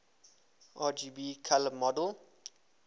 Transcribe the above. rgb color model